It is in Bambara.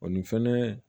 O ni fɛnɛ